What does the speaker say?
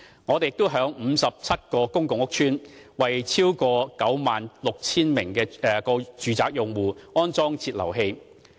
我們亦已在57個公共屋邨，為超過 96,000 個住宅用戶安裝節流器。